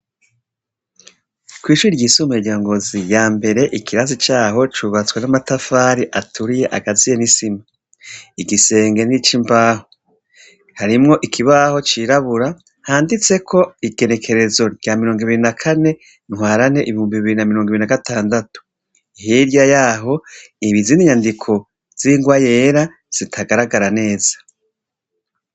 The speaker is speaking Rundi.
kwishure ryisumbuye ryangozi ya mbere ikibanza cyaho cyubatswa n'amatafari aturiye agaziye nisima igisenge n'icimbaho harimwo ikibaho c'irabura handitseko igenekerezo rya mirongo ibiri na kane ntwarane ibihumbi biri na mirongo ibiri na gatandatu hirya yaho hari izindi nyandiko zingwa yera zitagaragara neza